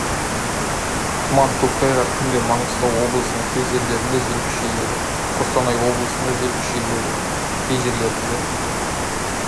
тұман көктайғақ түнде маңғыстау облысының кей жерлерінде жел күшейеді қостанай облысында жел күшейеді кей жерлерінде